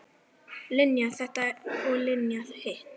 Linja þetta og Linja hitt.